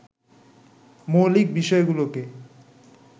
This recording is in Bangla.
মৌলিক বিষয়গুলোকে